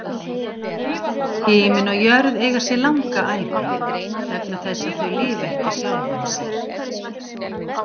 Himinn og jörð eiga sér langa ævi, vegna þess að þau lifa ekki sjálfum sér.